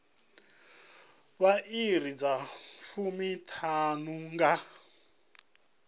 vha iri dza fumiṱhanu nga